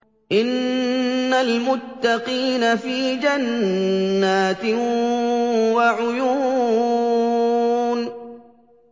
إِنَّ الْمُتَّقِينَ فِي جَنَّاتٍ وَعُيُونٍ